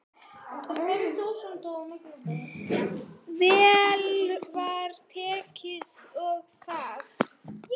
Vel var tekið í það.